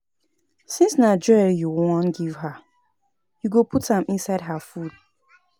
Since na jewelry you wan give her, you go fit put am inside her food